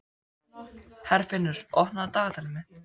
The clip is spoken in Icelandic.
Herfinnur, opnaðu dagatalið mitt.